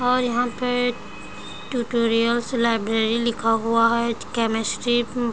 और यहाँ पे ट्यूटोरियल्स लाइब्रेरी लिखा हुआ है केमेस्ट्री --